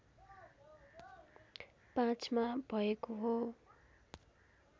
५ मा भएको हो